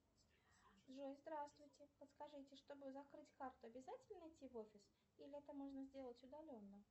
джой здравствуйте подскажите чтобы закрыть карту обязательно идти в офис или это можно сделать удаленно